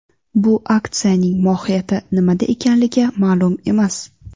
Bu aksiyaning mohiyati nimada ekanligi ma’lum emas.